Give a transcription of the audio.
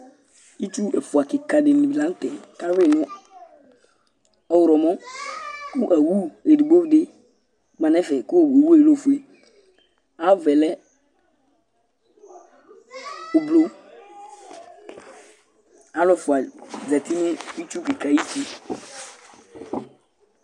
itsu ɛfua keka di ni lantɛ k'awi no ɔwlɔmɔ kò owu edigbo di ma no ɛfɛ kò owu yɛ lɛ ofue ayi ava yɛ lɛ ublɔ alo ɛfua zati n'itsu keka ayiti